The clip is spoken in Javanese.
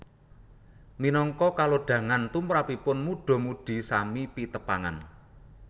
Minangka kalodhangan tumrapipun mudha mudhi sami pitepangan